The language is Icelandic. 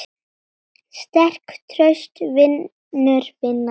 Sterk, traust, vinur vina sinna.